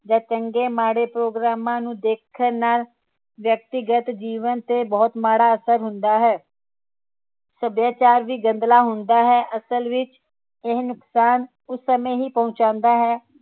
ਜਾ ਚੰਗੇ ਮਾੜੇ ਪ੍ਰੋਗਰਾਮਾਂ ਨੂੰ ਦੇਖਣ ਨਾਲ ਵਿਅਕਤੀਗਤ ਜੀਵਨ ਤੇ ਬਹੁਤ ਮਾੜਾ ਅਸਰ ਹੁੰਦਾ ਹੈ ਸੱਭਿਆਚਾਰ ਵੀ ਗੰਦਲਾ ਹੁੰਦਾ ਹੈ ਅਸਲ ਵਿਚ ਇਹ ਨੁਕਸਾਨ ਉਸ ਸਮੇ ਹੀ ਪਹੁੰਚਾਂਦਾ ਹੈ